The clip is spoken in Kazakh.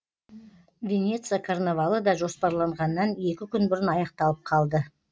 венеция карнавалы да жоспарланғаннан екі күн бұрын аяқталып қалды